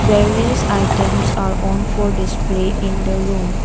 various items are own for display in the room.